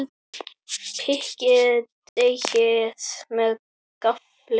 Pikkið deigið með gaffli.